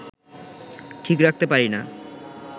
ঠিক রাখতে পারি না